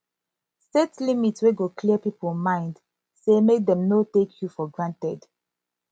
set limit wey go clear pipo mind sey mek dem no take yu for granted